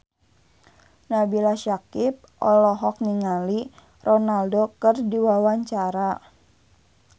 Nabila Syakieb olohok ningali Ronaldo keur diwawancara